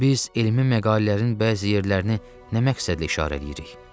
Biz elmi məqalələrin bəzi yerlərini nə məqsədli işarə eləyirik?